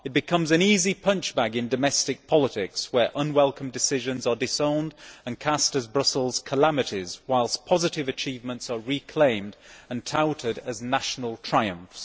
It becomes an easy punchbag in domestic politics, where unwelcome decisions are disowned and cast as Brussels calamities whilst positive achievements are reclaimed and touted as national triumphs.